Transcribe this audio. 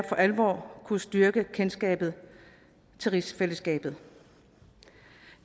for alvor kunne styrke kendskabet til rigsfællesskabet